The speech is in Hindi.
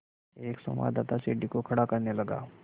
एक संवाददाता सीढ़ी को खड़ा करने लगा